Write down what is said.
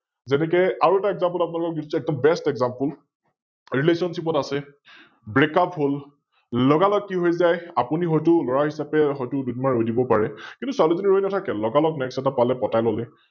আৰু এটা Example আপোনালোকক দিছে, একদম BestExample, Relationship ত আছে, Breakup হল, লগা লগ কি হৈ যায়, আপুনি হয়তো লৰা হিচাপে হয়তো দুদিন মান ৰৈ দিব পাৰে, কিন্তু ছোৱালি জনি ৰৈ নাথাকে, লগা লগ Next এটা পালে, পতাই ললে ।